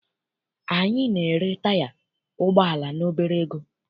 Anyị na-ere taya ụgbọala n'obere ego.